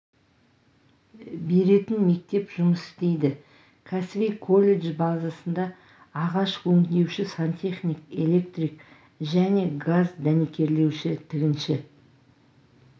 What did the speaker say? беретін мектеп жұмыс істейді кәсіби колледж базасында ағаш өңдеуші сантехник электрик және газ дәнекерлеуші тігінші